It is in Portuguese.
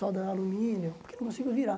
Solda alumínio, porque não consigo virar.